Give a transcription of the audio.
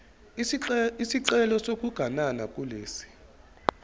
isicelo sokuganana kulesi